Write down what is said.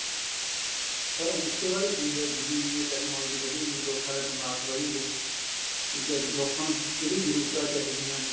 sir ਉਸ ਤੇ ਬਾਅਦ ਕਿ ਹੋਇਆ ਜਿਵੇਂ ਜਿਵੇਂ technology ਵਧੀ ਗਈ ਲੋਕਾਂ ਦੇ ਦਿਮਾਗ਼ ਵਧੀ ਗਏ ਠੀਕ ਏ ਲੋਕਾਂ ਨੂੰ ਜਿਹੜੀ ਜਰੂਰਤਾਂ ਚਾਹੀਦੀਆਂ ਨੇ